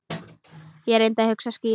Ég reyndi að hugsa skýrt.